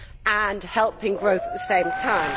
and helping growth at the same time.